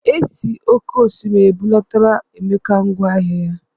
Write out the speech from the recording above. E si oke osimiri ebulatara Emeka ngwa ahịa ya.